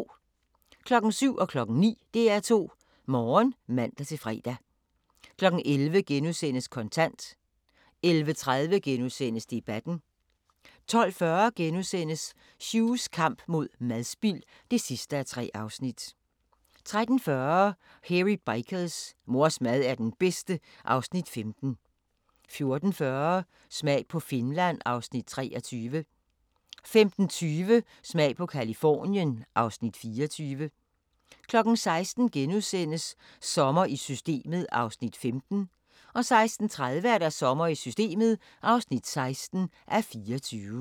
07:00: DR2 Morgen (man-fre) 09:00: DR2 Morgen (man-fre) 11:00: Kontant * 11:30: Debatten * 12:40: Hughs kamp mod madspild (3:3)* 13:40: Hairy Bikers: Mors mad er den bedste (Afs. 15) 14:40: Smag på Finland (Afs. 23) 15:20: Smag på Californien (Afs. 24) 16:00: Sommer i Systemet (15:24)* 16:30: Sommer i Systemet (16:24)